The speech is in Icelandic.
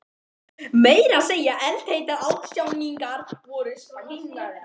Meira að segja eldheitar ástarjátningar voru sprenghlægilegar.